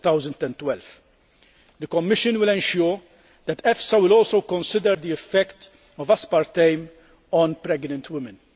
2012. The Commission will ensure that EFSA will also consider the effect of aspartame on pregnant women.